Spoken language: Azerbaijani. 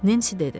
Nensi dedi.